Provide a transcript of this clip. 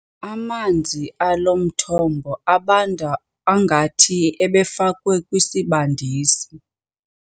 Amanzi alo mthombo abanda ngathi ebefakwe kwisibandisi.